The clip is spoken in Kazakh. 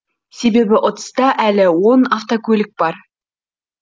себебі ұтыста әлі он автокөлік бар